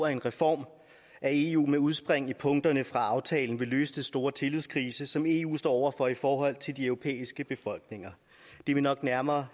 at en reform af eu med udspring i punkterne fra aftalen vil løse den store tillidskrise som eu står over for i forhold til de europæiske befolkninger det vil nok nærmere